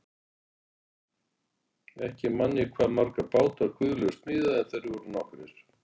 Ekki man ég hvað marga báta Guðlaugur smíðaði en þeir voru nokkrir.